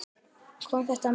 Kom þetta mér á óvart?